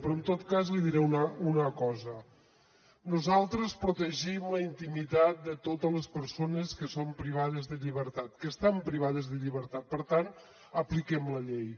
però en tot cas li diré una cosa nosaltres protegim la intimitat de totes les persones que són privades de llibertat que estan privades de llibertat per tant apliquem la llei